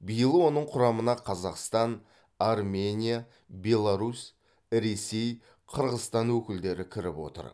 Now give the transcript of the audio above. биыл оның құрамына қазақстан армения беларусь ресей қырғызстан өкілдері кіріп отыр